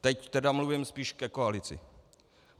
Teď tedy mluvím spíš ke koalici.